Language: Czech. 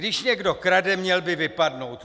Když někdo krade, měl by vypadnout!